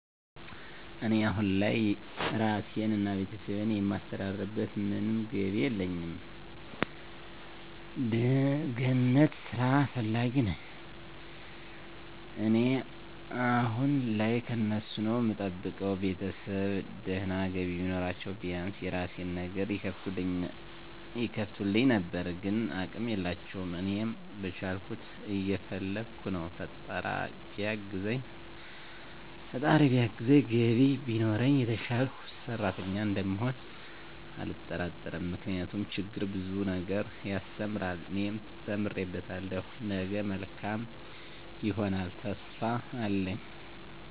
እኔ አሁን ላይ ራሴን እና ቤተሰቤን የማስተዳድርበት ምንም ገቢ የለኝም። ገነት ስራ ፈላጊ ነኝ እኔ አሁን ላይ ከነሱ ነዉ እምጠብቀው፣ ቤተሰብ ድና ገቢ ቢኖራችዉ ቢያንስ የራሴን ነገር ይከፍቱልኝ ነበር ግን አቅም የላቸውም። እኔም በቻልኩት እየፈለከ ነው ፈጣራ ቢያግዘኝ ገቢ ቢኖረኝ የተሸሸልኩ ሰሪተኛ እንደምሆን አልጠራጠርም ምክንያቱም ችግር ብዙ ነገር ያሰተምራል እኔ ተምሬበታለሁ ነገ መልካም ይሆነልተሰፊፋ አለኝ።